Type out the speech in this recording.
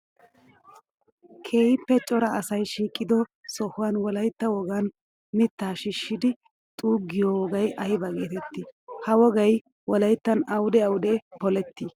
Keehippe cora asay shiiqiddo sohuwan wolaytta wogan mitta shiishshiddi xuugiyo wogay aybba geetetti? Ha wogay wolayttan awudde awudde poletti ?